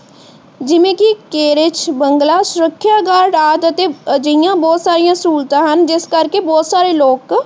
ਜਿਵੇਂ ਕਿ ਕੇਰਚ ਬੰਗਲਾ, ਸੁਰੱਖਿਆ ਗਾਰਡ ਆਦਿ ਅਤੇ ਅਜੇਹੀਆਂ ਬਹੁਤ ਸਾਰੀਆਂ ਸਹੂਲਤਾਂ ਹਨ। ਜਿਸ ਕਰ ਕੇ ਬਹੁਤ ਸਾਰੇ ਲੋਕ